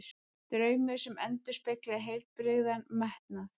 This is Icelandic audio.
Draumur sem endurspeglaði heilbrigðan metnað.